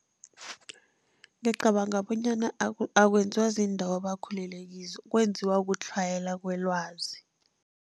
Ngicabanga bonyana akwenziwa ziindawo abakhulele kizo, kwenziwa kutlhayela kwelwazi.